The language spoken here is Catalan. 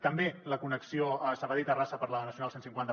també la connexió sabadell terrassa per la nacional cent i cinquanta